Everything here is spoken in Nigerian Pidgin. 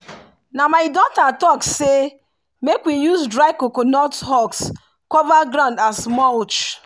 na my daughter talk say make we use dry coconut husk cover ground as mulch.